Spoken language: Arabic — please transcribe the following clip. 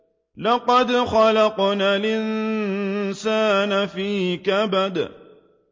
لَقَدْ خَلَقْنَا الْإِنسَانَ فِي كَبَدٍ